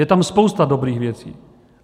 Je tam spousta dobrých věcí.